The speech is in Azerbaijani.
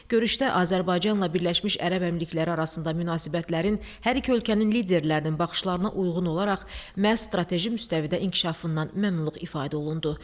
Görüşdə Azərbaycanla Birləşmiş Ərəb Əmirlikləri arasında münasibətlərin hər iki ölkənin liderlərinin baxışlarına uyğun olaraq məhz strateji müstəvidə inkişafından məmnunluq ifadə olundu.